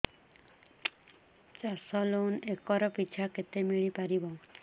ଚାଷ loan acre ପିଛା କେତେ ମିଳି ପାରିବ